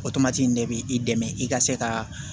O tomati in de b'i dɛmɛ i ka se ka